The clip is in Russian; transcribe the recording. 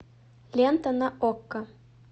лента на окко